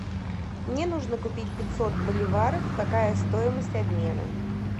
мне нужно купить пятьсот боливаров какая стоимость обмена